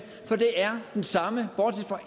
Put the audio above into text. for det er den samme bortset fra